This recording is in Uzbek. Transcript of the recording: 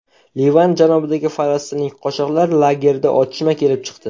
Livan janubidagi falastinlik qochoqlar lagerida otishma kelib chiqdi.